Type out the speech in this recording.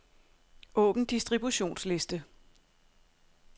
Åbn distributionsliste.